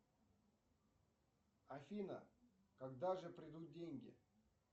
афина когда же придут деньги